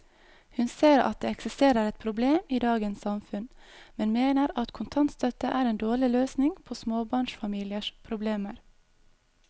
Hun ser at det eksisterer et problem i dagens samfunn, men mener at kontantstøtte er en dårlig løsning på småbarnsfamiliers problemer.